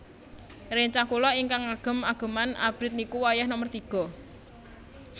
Rencang kula ignkang ngagem ageman abrit niku wayah nomer tiga